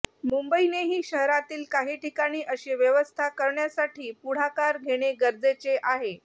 मुंबईनेही शहरातील काही ठिकाणी अशी व्यवस्था करण्यासाठी पुढाकार घेणे गरजेचे आहे